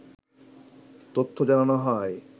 তথ্য জানানো হয়